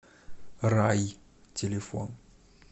рай телефон